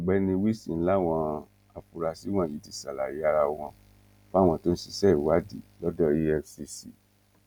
ọ̀gbẹ́ni wilson làwọn afurasí wọ̀nyí ti ṣàlàyé ara wọn fáwọn tó ń ṣiṣẹ́ ìwádìí lọ́dọ̀ efcc